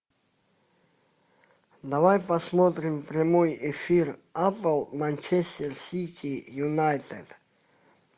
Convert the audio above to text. давай посмотрим прямой эфир апл манчестер сити юнайтед